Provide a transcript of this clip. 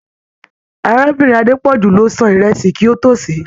Arábìnrin Adepoju ló sàn ìrẹsì kí o to ṣe.